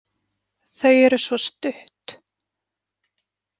Þau eru svo stutt.